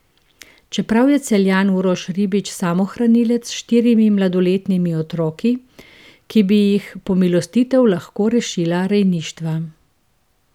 Čeprav je Celjan Uroš Ribič samohranilec s štirimi mladoletnimi otroki, ki bi jih pomilostitev lahko rešila rejništva.